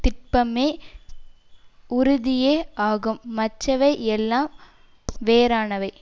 திட்பமே உறுதியே ஆகும் மற்றவை எல்லாம் வேறானவை